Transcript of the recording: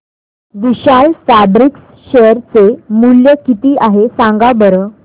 विशाल fabrics share चे मूल्य किती आहे सांगा बरं